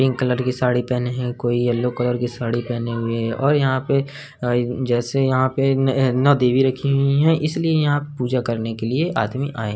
Pink colour की साड़ी पहने है। कोई येलो कलर की साड़ी पहने हुए है और यहाँ पे जैसे यहाँ पे न नौ देवी रखी हुई है। इसलिए यहाँ पूजा करने के लिए आदमी आये --